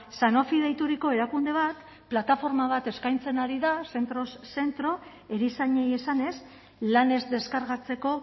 sanofi deituriko erakunde bat plataforma bat eskaintzen ari da zentroz zentro erizainei esanez lanez deskargatzeko